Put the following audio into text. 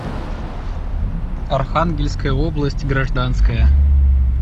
архангельская область гражданская